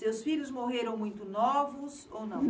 Seus filhos morreram muito novos ou não?